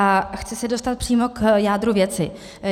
A chci se dostat přímo k jádru věci.